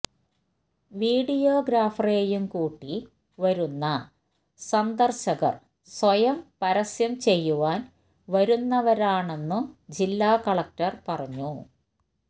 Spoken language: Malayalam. വീഡിയോഗ്രാഫറെയും കൂട്ടി വരുന്ന സന്ദർശകർ സ്വയം പരസ്യം ചെയ്യുവാൻ വരുന്നവരാണെന്നു ജില്ലാ കലക്ടർ പറഞ്ഞു